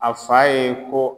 A fa ye ko.